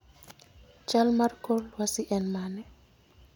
chal mar kor lwasi en mane?